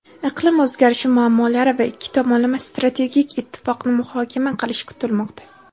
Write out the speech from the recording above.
iqlim o‘zgarishi muammolari va ikki tomonlama strategik ittifoqni muhokama qilishi kutilmoqda.